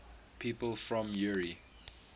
people from eure